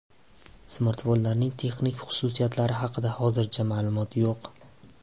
Smartfonlarning texnik xususiyatlari haqida hozircha ma’lumot yo‘q.